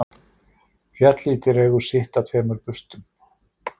Fjallið dregur sitt af tveimur burstum